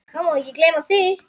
Það má ekki gleyma því.